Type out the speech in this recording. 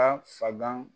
A fagan